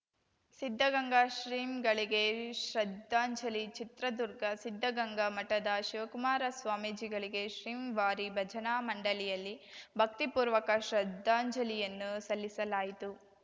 ಸಿದ್ಧಗಂಗಾ ಶ್ರೀಗಳಿಗೆ ಶ್ರದ್ಧಾಂಜಲಿ ಚಿತ್ರದುರ್ಗ ಸಿದ್ಧಗಂಗಾ ಮಠದ ಶಿವಕುಮಾರ ಸ್ವಾಮೀಜಿಗಳಿಗೆ ಶ್ರೀವಾರಿ ಭಜನಾ ಮಂಡಲಿಯಲ್ಲಿ ಭಕ್ತಿಪೂರ್ವಕ ಶ್ರದ್ಧಾಂಜಲಿಯನ್ನು ಸಲ್ಲಿಸಲಾಯಿತು